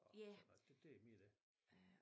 Og sådan noget det det er mere det